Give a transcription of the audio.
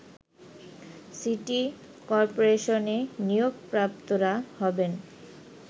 city করপোরেশনে নিয়োগপ্রাপ্তরা হবেন